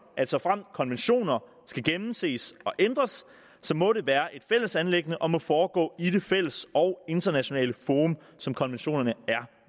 at såfremt konventioner skal gennemses og ændres må det være et fælles anliggende og må foregå i det fælles og internationalt forum som konventionerne er